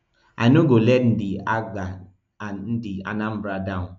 i no go let ndi apga and ndi anambra down